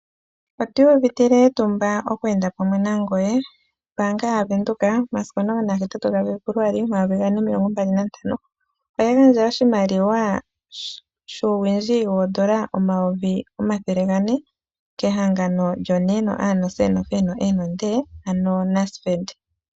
Otu iyuvitile etumba oku enda pamwe nangoye. Ombaanga yaVenduka momasiku 18 Febuluali 2025 oya gandja oshimaliwa shuuwindji N$ 400 000 kehangano lyoNASFED.